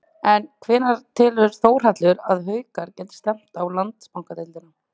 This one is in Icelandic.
En hvenær telur Þórhallur að Haukar geti stefnt á Landsbankadeildina?